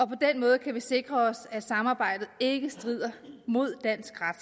på den måde kan vi sikre os at samarbejdet ikke strider mod dansk ret